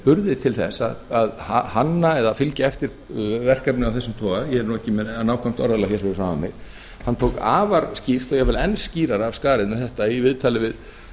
burði til að hanna eða fylgja eftir verkefnum af þessum toga ég er ekki með nákvæmt orðalag fyrir framan mig hann tók afar skýrt og jafnvel enn skýrar af skarið með þetta í viðtali við